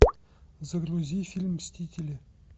загрузи фильм мстители